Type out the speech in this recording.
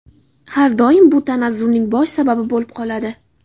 har doim bu tanazzulning bosh sababi bo‘lib qoladi.